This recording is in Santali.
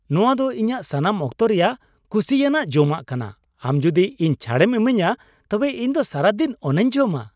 ᱱᱚᱣᱟ ᱫᱚ ᱤᱧᱟᱜ ᱥᱟᱱᱟᱢ ᱚᱠᱛᱚ ᱨᱮᱭᱟᱜ ᱠᱩᱥᱤᱭᱟᱱᱟᱜ ᱡᱚᱢᱟᱜ ᱠᱟᱱᱟ, ᱟᱢ ᱡᱩᱫᱤ ᱤᱧ ᱪᱷᱟᱹᱲᱮᱢ ᱤᱢᱟᱹᱧᱟ ᱛᱚᱵᱮ ᱤᱧ ᱫᱚ ᱥᱟᱨᱟᱫᱤᱱ ᱚᱱᱟᱧ ᱡᱚᱢᱟ ᱾